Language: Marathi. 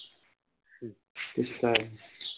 तेच त हाये.